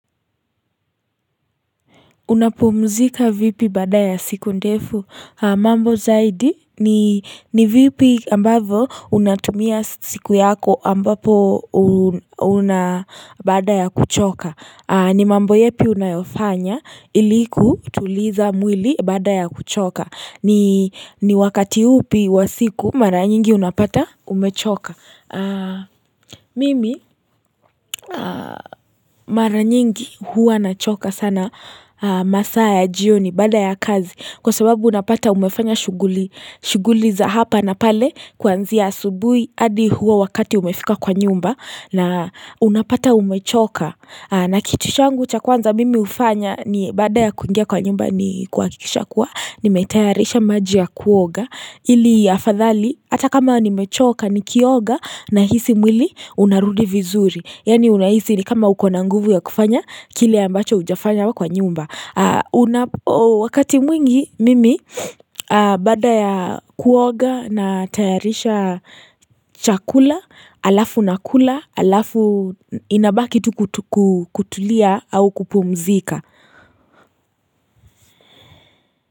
Unapumzika vipi baada ya siku ndefu mambo zaidi ni vipi ambavo unatumia siku yako ambapo una baada ya kuchoka ni mambo yapi unayofanya ili kutuliza mwili baada ya kuchoka ni wakati upi wa siku mara nyingi unapata umechoka Mimi mara nyingi huwa nachoka sana masaa ya jioni baada ya kazi Kwa sababu unapata umefanya shughuli shughuli za hapa na pale Kuanzia asubui adi huo wakati umefika kwa nyumba na unapata umechoka na kitu changu cha kwanza mimi hufanya ni baada ya kungia kwa nyumba ni kuakikisha kuwa nimetayarisha maji ya kuoga ili afadhali Ata kama nimechoka nikioga Nahisi mwili unarudi vizuri Yaani unahisi ni kama ukona nguvu ya kufanya Kile ambacho hujafanya kwa nyumba Wakati mwingi mimi Baada ya kuoga na tayarisha chakula Alafu nakula Alafu inabaki tu kutulia au kupumzika.